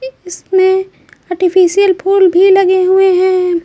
इसमें आर्टिफिशियल फूल भी लगे हुए हैं।